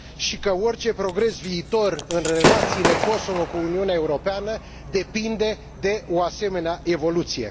și că orice progres viitor în relațiile Kosovo cu Uniunea Europeană depinde de o asemenea evoluție.